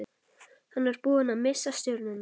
Hann var búinn að missa stjórnina.